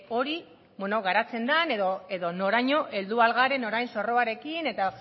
hori bueno garatzen den edo noraino heldu ahal garen orain zorroarekin eta